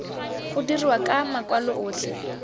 go dirwa ka makwalo otlhe